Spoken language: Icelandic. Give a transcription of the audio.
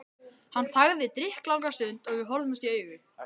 Hann þagði drykklanga stund og við horfðumst í augu.